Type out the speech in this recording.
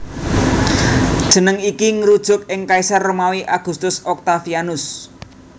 Jeneng iki ngrujuk ing kaisar Romawi Augustus Octavianus